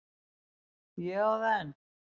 Ég á það enn.